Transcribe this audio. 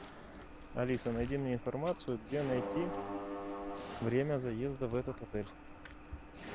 алиса найди мне информацию где найти время заезда в этот отель